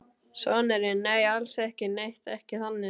Sonurinn: Nei, alls ekki neitt, ekki þannig.